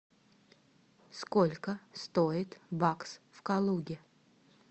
сколько стоит бакс в калуге